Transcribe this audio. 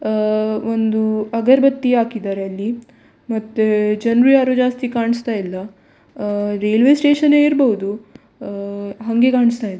ಅಹ್ ಒಂದು ಅಗರ್‌ಬತ್ತಿ ಹಾಕಿದ್ದಾರೆ ಅಲ್ಲಿ ಮತ್ತೆ ಜನ್ರು ಯಾರು ಜಾಸ್ತಿ ಕಾಣಿಸ್ತ ಇಲ್ಲ ಅಹ್ ರೈಲ್ವೆ ಸ್ಟೇಷನ್ ಏ ಇರ್ಬಹುದು ಅಹ್ ಹಂಗೆ ಕಾಣಿಸ್ತ ಇದೆ.